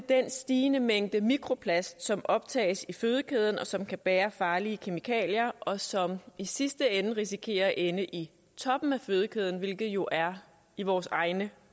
den stigende mængde mikroplast som optages i fødekæden og som kan bære farlige kemikalier og som i sidste ende risikerer at ende i toppen af fødekæden hvilket jo er i vores egne